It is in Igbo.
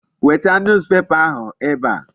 Weta newspaper ahụ ebe a.